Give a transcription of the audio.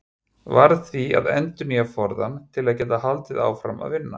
Varð því að endurnýja forðann til að geta haldið áfram að vinna.